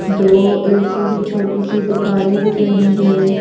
दो ऐसी ही छोटी सी दुकानें दिख रही हैं।